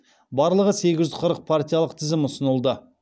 барлығы сегіз жүз қырық партиялық тізім ұсынылды